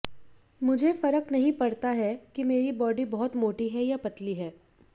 मुझे फर्क नहीं पड़ता है कि मेरी बॅाडी बहुत मोटी है या पतली है